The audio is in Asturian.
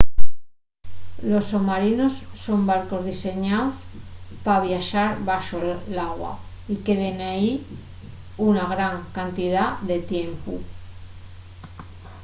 los somarinos son barcos diseñaos pa viaxar baxo l’agua y queden ehí una gran cantidá de tiempu